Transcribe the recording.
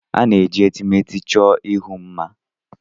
A na-eji etemeete chọọ ihu mma.